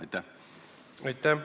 Aitäh!